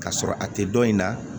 K'a sɔrɔ a tɛ dɔn in na